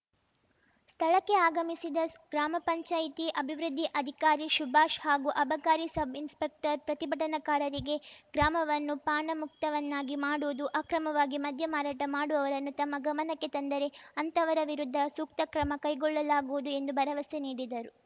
ಸ್ಥಳಕ್ಕೆ ಆಗಮಿಸಿದ ಗ್ರಾಮ ಪಂಚಾಯತಿ ಅಭಿವೃದ್ಧಿ ಅಧಿಕಾರಿ ಶುಭಾಷ್‌ ಹಾಗೂ ಅಬಕಾರಿ ಸಬ್‌ಇನ್‌ಸ್ಪೆಕ್ಟರ್‌ ಪ್ರತಿಭಟನಾಕಾರರಿಗೆ ಗ್ರಾಮವನ್ನು ಪಾನಮುಕ್ತವನ್ನಾಗಿ ಮಾಡುವುದು ಅಕ್ರಮವಾಗಿ ಮದ್ಯ ಮಾರಾಟ ಮಾಡುವವರನ್ನು ತಮ್ಮ ಗಮನಕ್ಕೆ ತಂದರೆ ಅಂತವರ ವಿರುದ್ಧ ಸೂಕ್ತ ಕ್ರಮ ಕೈಗೊಳ್ಳಲಾಗುವುದು ಎಂದು ಭರವಸೆ ನೀಡಿದರು